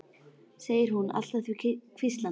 segir hún allt að því hvíslandi.